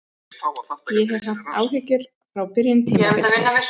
Ég hef haft áhyggjur frá byrjun tímabilsins.